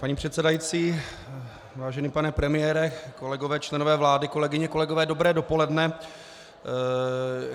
Paní předsedající, vážený pane premiére, kolegové členové vlády, kolegyně, kolegové, dobré dopoledne.